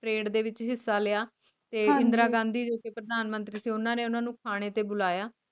parade ਦੇ ਵਿਚ ਹਿਸਾ ਲਿਆ ਤੇ ਇੰਦਰਾ ਗਾਂਧੀ ਜੋ ਕਿ ਪ੍ਰਧਾਨ ਮੰਤਰੀ ਸੀ ਉਨ੍ਹਾਂ ਨੇ ਓਨੁ ਨੂੰ ਖਾਣੇ ਤੇ ਬੁਲਾਇਆ